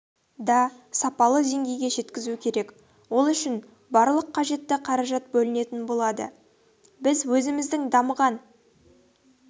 да сапалы деңгейге жеткізу керек ол үшін барлық қажетті қаражат бөлінетін болады біз өзіміздің дамыған